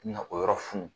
Na o yɔrɔ fun